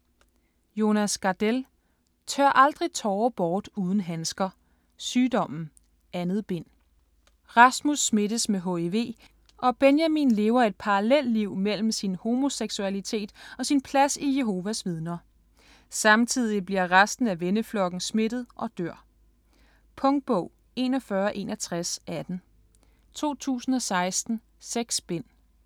Gardell, Jonas: Tør aldrig tårer bort uden handsker: Sygdommen: 2. bind Rasmus smittes med hiv og Benjamin lever et parallelliv mellem sin homoseksualitet og sin plads i Jehovas Vidner. Samtidig bliver resten af venneflokken smittet og dør. Punktbog 416118 2016. 6 bind.